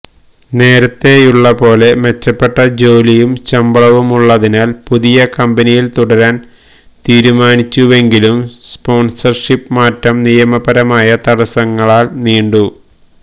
നേരത്തെയുള്ള പോലെ മെച്ചപ്പെട്ട ജോലിയും ശമ്പളവുമുള്ളതിനാൽ പുതിയ കമ്പനിയിൽ തുടരാൻ തീരുമാനിച്ചുവെങ്കിലും സ്പോൻസർഷിപ് മാറ്റം നിയമപരമായ തടസ്സങ്ങളാൽ നീണ്ടു